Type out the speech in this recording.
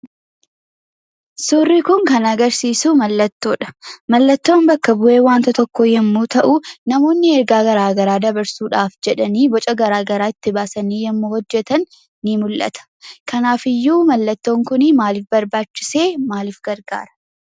Suurri kun kan agarsiisu mallattoodha. Mallattoon bakka bu'ee wanta tokkoo yemmuu ta'u namoonni ergaa garaa garaa dabarsuudhaaf jedhanii boca gara garaa baasanii yemmuu hojjetan ni mullata. Kanaafiyyuu mallattoon kunii maalif barbaachise? maalif gargaara?